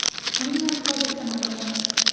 Uning narxi hozircha ma’lum emas.